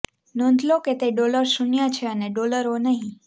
નોંધ લો કે તે ડોલર શૂન્ય છે અને ડોલર ઓ નહીં